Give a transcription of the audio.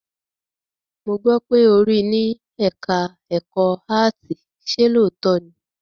Mo gbọ́ pé ó rí ní ẹ̀ká ẹ̀kọ́ áàtì, ṣe lóòótọ́ ni?